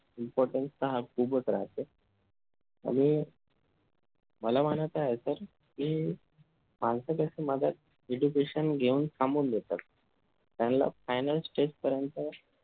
importance हा खूपच राहते आणि मला म्हणायचं आहे sir कि education घेऊन थांबून घेतात त्यांच्या final stage पर्यंत